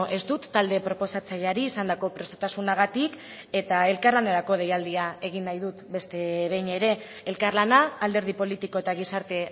ez dut talde proposatzaileari izandako prestutasunagatik eta elkarlanerako deialdia agin nahi dut beste behin ere elkarlana alderdi politiko eta gizarte